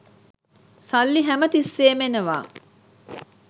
සල්ලි හැම තිස්සේම එනවා.